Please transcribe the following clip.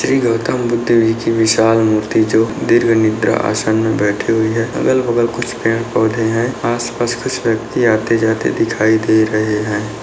श्री गौतम बुद्ध जी की विशाल मूर्ति जो द्रीर्घनिद्रा आसान में बैठे हुए है। अगल-बगल कुछ पेड़-पौधे है। आस-पास कुछ व्यक्ति आते-जाते दिखाई दे रहे है।